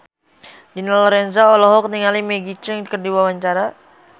Dina Lorenza olohok ningali Maggie Cheung keur diwawancara